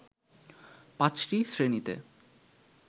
পাঁচটি শ্রেণিতে